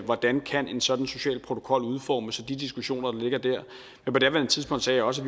hvordan en sådan social protokol kan udformes og de diskussioner der ligger dér men på daværende tidspunkt sagde jeg også